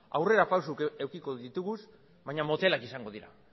aurrerapausoak edukiko ditugu baina motelak eta apalak izango dira